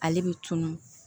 Ale bɛ tunun